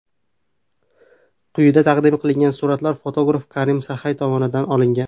Quyida taqdim qilingan suratlar fotograf Karim Saxay tomonidan olingan.